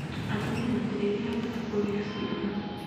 Atumia matirĩrĩhagĩra kũgĩa ciana